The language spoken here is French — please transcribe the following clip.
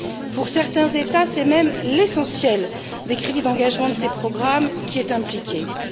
Pour certains États, c'est même l'essentiel des crédits d'engagement de ces programmes qui est touché.